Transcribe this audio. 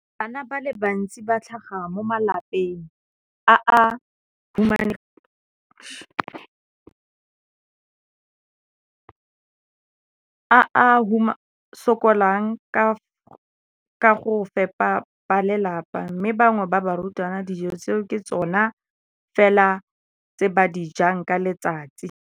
Bana ba le bantsi ba tlhaga mo malapeng a a humanegileng a a sokolang go ka fepa ba lelapa mme ba bangwe ba barutwana, dijo tseo ke tsona fela tse ba di jang ka letsatsi.